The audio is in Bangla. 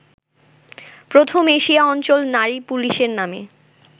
প্রথম এশিয়া অঞ্চল নারী পুলিশ নামে